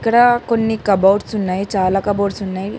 ఇక్కడ కొన్ని కబోర్డ్స్ ఉన్నాయి చాలా కబోర్డ్స్ ఉన్నాయి.